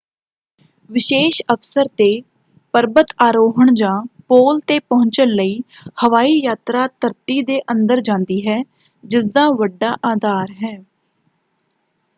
ਵਿਸ਼ੇਸ਼ ਅਵਸਰ 'ਤੇ ਪਰਬਤ ਆਰੋਹਣ ਜਾਂ ਪੋਲ 'ਤੇ ਪਹੁੰਚਣ ਲਈ ਹਵਾਈ ਯਾਤਰਾ ਧਰਤੀ ਦੇ ਅੰਦਰ ਜਾਂਦੀ ਹੈ ਜਿਸਦਾ ਵੱਡਾ ਅਧਾਰ ਹੈ।